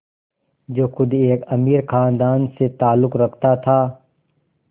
जो ख़ुद एक अमीर ख़ानदान से ताल्लुक़ रखता था